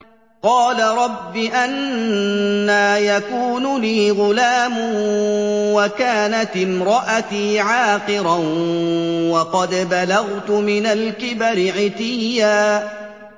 قَالَ رَبِّ أَنَّىٰ يَكُونُ لِي غُلَامٌ وَكَانَتِ امْرَأَتِي عَاقِرًا وَقَدْ بَلَغْتُ مِنَ الْكِبَرِ عِتِيًّا